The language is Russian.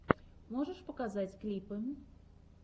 можешь показать клипы